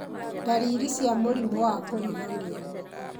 ndariri cia mũrimũ wa kũriganĩrwo